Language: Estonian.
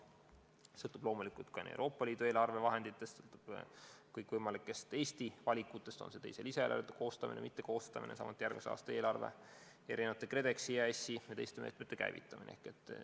Palju sõltub loomulikult nii Euroopa Liidu eelarvevahenditest kui ka kõikvõimalikest Eesti valikutest – on see teise lisaeelarve koostamine või mittekoostamine, samuti järgmise aasta eelarve, KredExi, EAS-i ja teiste meetmete käivitamine.